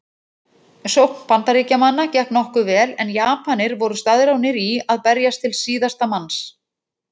Sókn Bandaríkjamanna gekk nokkuð vel en Japanir voru staðráðnir í að berjast til síðasta manns.